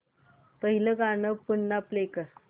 पहिलं गाणं पुन्हा प्ले कर